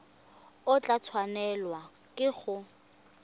o tla tshwanelwa ke go